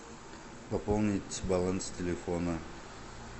пополнить баланс телефона